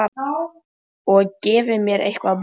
Og gefi mér eitthvað að borða.